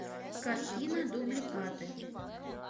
картина дубликаты